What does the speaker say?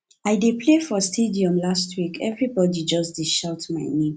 i dey play for stadium last week everbodi just dey shout my name